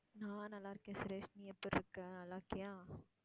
நான் நல்லா இருக்கேன் சுரேஷ். நீ எப்படி இருக்க? நல்லா இருக்கியா?